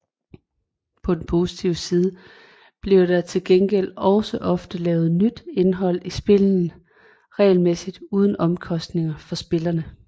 På den positive side bliver der til gengæld også ofte lavet nyt indhold i spillene regelmæssigt uden omkostninger for spillerne